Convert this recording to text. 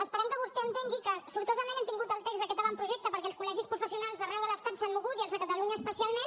esperem que vostè entengui que sortosament hem tingut el text d’aquest avantprojecte perquè els col·legis professionals d’arreu de l’estat s’han mogut i els de catalunya especialment